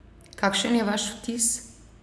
Kakšen je vaš vtis?